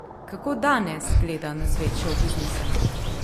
Kako danes gleda na svet šovbiznisa?